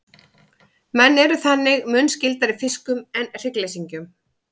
menn eru þannig mun skyldari fiskum en hryggleysingjum